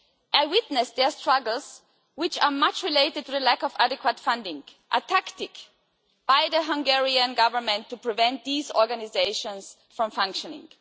I witnessed their struggles, which are much related to a lack of adequate funding, a tactic by the Hungarian government to prevent these organisations from functioning.